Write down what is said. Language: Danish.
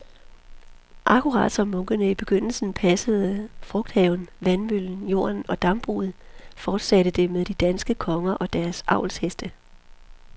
Akkurat som munkene i begyndelsen selv passede frugthaven, vandmøllen, jorden og dambruget, fortsatte det med de danske konger og deres avlsheste.